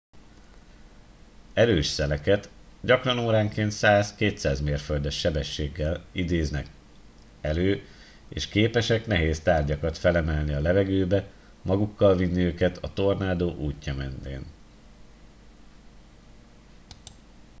erős szeleket gyakran óránként 100-200 mérföldes sebességgel időznek elő és képesek nehéz tárgyakat felemelni a levegőbe magukkal vinni őket a tornádó útja mentén